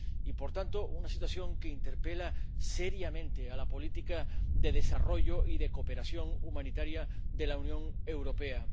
Es, por tanto, una situación que interpela seriamente a la política de desarrollo y de cooperación humanitaria de la Unión Europea.